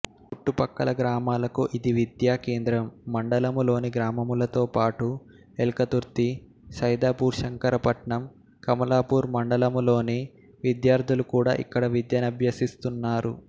చుట్టుప్రక్కల గ్రామాలకు ఇది విద్యా కేంద్రంమండలంలోని గ్రామములతో పాటు ఎల్కతుర్తిసైదాపూర్శంకరపట్నంకమలాపూర్ మండలములలోని విద్యార్థులు కూడా ఇక్కడ విద్యనభ్యసిస్తున్నారు